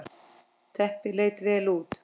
Teppið leit vel út.